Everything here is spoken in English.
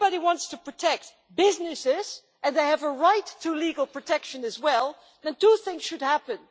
If anybody wants to protect businesses, and they have a right to legal protection as well, then two things should happen.